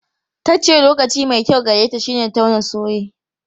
Ta ce lokaci mai kyau gareta shine tauna soye.